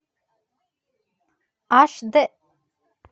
аш д